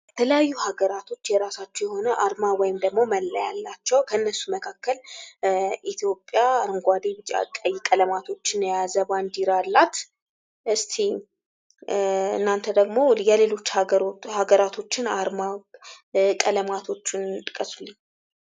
በተለያዩ ሀገራቶች የራሳቸው የሆነ አርማ ወይም ደግሞ መለያ አላቸው። ከእነሱም መካከል ኢትዮጵያ አረንጓዴ፣ ቢጫ፣ ቀይ ቀለማቶችን የያዘ ባንዲራ አላት። እስቲ እናንተ ደግሞ የሌሎች ሀገራቶችንን አርማ ቀለማቶችን ጥቀሱ።